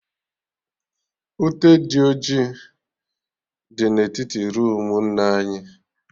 Ute dị ọjị dị na etiti roomu nna anyị